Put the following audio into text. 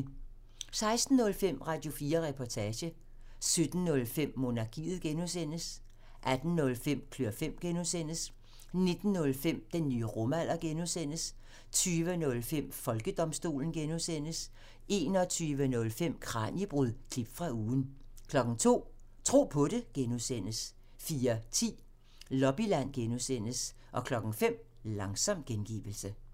16:05: Radio4 Reportage 17:05: Monarkiet (G) 18:05: Klør fem (G) 19:05: Den nye rumalder (G) 20:05: Folkedomstolen 21:05: Kraniebrud – klip fra ugen 02:00: Tro på det (G) 04:10: Lobbyland (G) 05:00: Langsom gengivelse